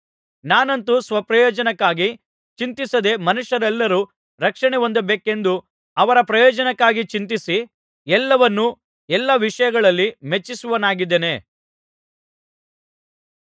ನಾನಂತೂ ಸ್ವಪ್ರಯೋಜನಕ್ಕಾಗಿ ಚಿಂತಿಸದೇ ಮನುಷ್ಯರೆಲ್ಲರು ರಕ್ಷಣೆ ಹೊಂದಬೇಕೆಂದು ಅವರ ಪ್ರಯೋಜನಕ್ಕಾಗಿ ಚಿಂತಿಸಿ ಎಲ್ಲರನ್ನು ಎಲ್ಲಾ ವಿಷಯಗಳಲ್ಲಿ ಮೆಚ್ಚಿಸುವವನಾಗಿದ್ದೇನೆ